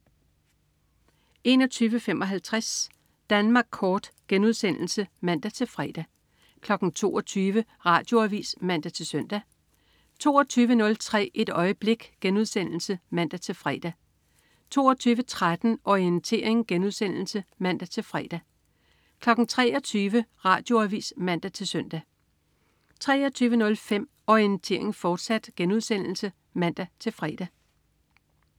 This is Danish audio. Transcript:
21.55 Danmark Kort* (man-fre) 22.00 Radioavis (man-søn) 22.03 Et øjeblik* (man-fre) 22.13 Orientering* (man-fre) 23.00 Radioavis (man-søn) 23.05 Orientering, fortsat* (man-fre)